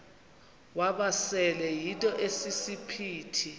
wamasele yinto esisiphithi